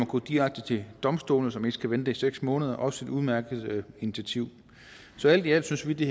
gå direkte til domstolene så man ikke skal vente i seks måneder og også et udmærket initiativ så alt i alt synes vi det